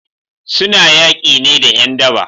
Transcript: Suna yaki ne da 'yan daba